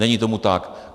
Není tomu tak.